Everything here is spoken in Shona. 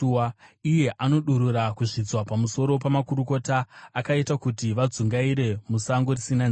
iye anodurura kuzvidzwa pamusoro pamakurukota, akaita kuti vadzungaire musango risina nzira.